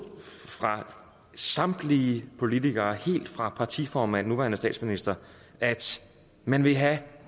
af samtlige politikere helt fra partiformanden den nuværende statsminister at man vil have